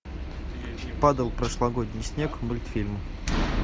падал прошлогодний снег мультфильм